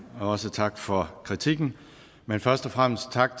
også tak for kritikken men først og fremmest tak